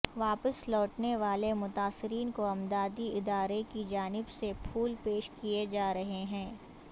واپس لوٹنے والے متاثرین کو امدادی ادارے کی جانب سے پھول پیش کیئے جارہے ہیں